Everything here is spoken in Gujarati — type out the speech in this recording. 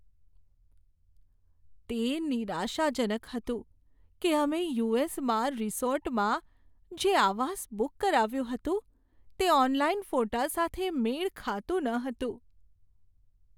તે નિરાશાજનક હતું કે અમે યુ.એસ.માં રિસોર્ટમાં જે આવાસ બુક કરાવ્યું હતું, તે ઓનલાઈન ફોટા સાથે મેળ ખાતું ન હતું.